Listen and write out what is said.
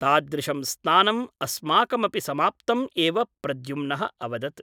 तादृशं स्नानम् अस्माकमपि समाप्तम् एव प्रद्युम्नः अवदत् ।